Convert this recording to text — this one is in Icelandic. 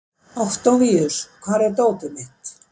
Októvíus, hvar er dótið mitt?